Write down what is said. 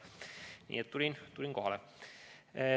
Nii et tulin kohale.